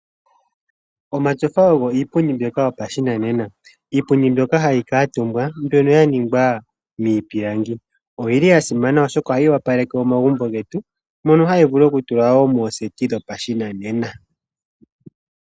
Omatyofa oyo iipundi mbyoka yopashinanena iipundi mbyoka hayi kaaatumbwa mbyono ya ningwa miipilangi oyi li ya simana oshoka ohayi opaleke omagumbo mono hayi vulu wo okutulwa mooseti dhopashinanena.